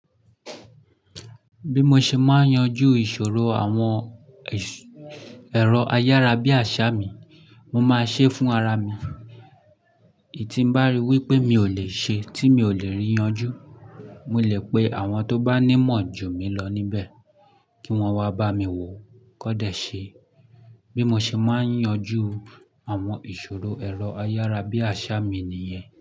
Bí mo ṣe máa yanjú ìṣòro àwọn ẹ̀rọ ayárabíàṣá mi, mo máa ṣe é fún ara mi. Èyí tí mo bá rí wípé mi ò lè ṣe, tí mi ò lè yanjú, mo lè pe àwọn tó bá ní mọ̀ jù mí lọ níbẹ̀ kí wọ́n wá bá mi wo ó kóde ṣe. Bí mo ṣe máa ń yanjú àwọn ìṣòro ẹ̀rọ ayárabíàṣá mi nìyẹn.